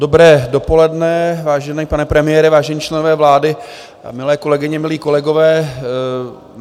Dobré dopoledne, vážený pane premiére, vážení členové vlády, milé kolegyně, milí kolegové.